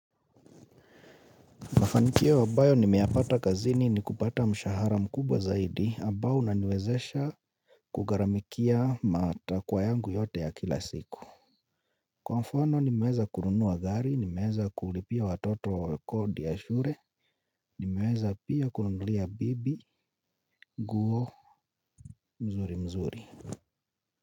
Mafanikio ambayo nimeyapata kazini ni kupata mshahara mkubwa zaidi, ambao una niwezesha kugharamikia matakwa yangu yote ya kila siku. Kwa mfano nimeweza kununua gari, ni meweza kulipia watoto wa kodi ya shule, ni meweza pia kununulia bibi nguo mzuri mzuri.